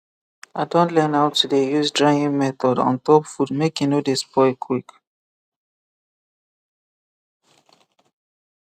i don learn how to dey use drying method on top food make e no dey spoil quick